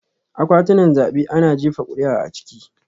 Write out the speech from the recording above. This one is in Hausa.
Akwatunan zabe ana jefa kuri'a a ciki